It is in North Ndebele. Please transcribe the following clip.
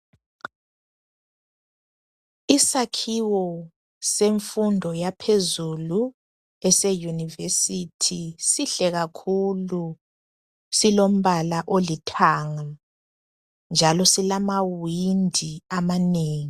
Isakhiwo senfundo yaphezulu eseuniversity sihle kakhulu .Silombala olithanga njalo silamawindi amanengi.